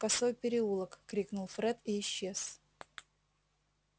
косой переулок крикнул фред и исчез